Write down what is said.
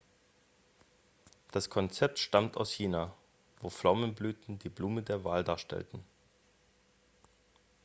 das konzept stammt aus china wo pflaumenblüten die blume der wahl darstellten